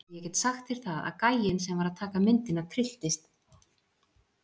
Og ég get sagt þér það að gæinn sem var að taka myndina trylltist.